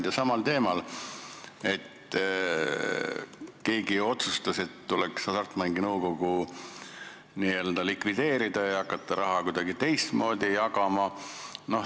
Küsin samal teemal, et keegi otsustas, et tuleks Hasartmängumaksu Nõukogu likvideerida ja hakata raha kuidagi teistmoodi jagama.